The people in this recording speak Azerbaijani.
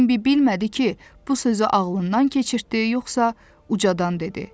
Bembi bilmədi ki, bu sözü ağlından keçirtdi, yoxsa ucadan dedi.